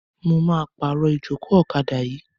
Mo máa pàrọ̀ ìjókòó ọ̀kadà yìí.